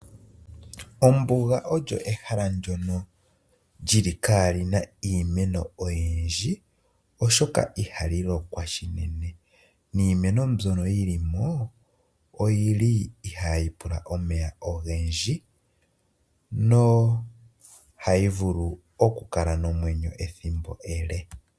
Ombuga olo ehala ndono li li kali na iimeno oyindji oshoka ihali lokwa shinene. Niimeno mbyono yili mo oyi li ihayi pula omeya ogendji, no hayi vulu okukala nomwenyo ethimbo ele.